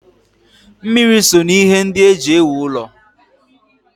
Mmiri so n'ihe ndị e ji ewu ụlọ.